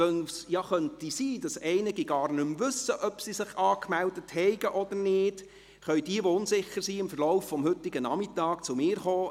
Weil es sein könnte, dass einige gar nicht mehr wissen, ob sie sich angemeldet haben oder nicht, können jene, die unsicher sind, heute Nachmittag zu mir kommen;